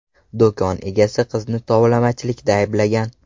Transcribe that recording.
Do‘kon egasi qizni tovlamachilikda ayblagan.